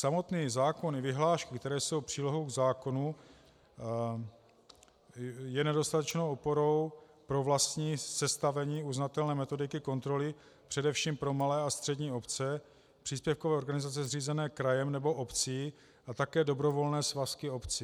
Samotný zákon i vyhlášky, které jsou přílohou k zákonu, jsou nedostatečnou oporou pro vlastní sestavení uznatelné metodiky kontroly především pro malé a střední obce, příspěvkové organizace zřízené krajem nebo obcí a také dobrovolné svazky obcí.